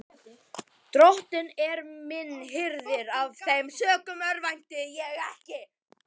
Drottinn er minn hirðir, af þeim sökum örvænti ég ekki.